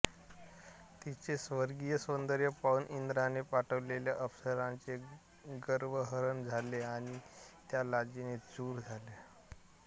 तिचे स्वर्गीय सौंदर्य पाहून इंद्राने पाठवलेल्या अप्सरांचे गर्वहरण झाले आणि त्या लाजेने चूर झाल्या